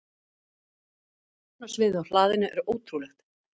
Sjónarsviðið á hlaðinu er ótrúlegt.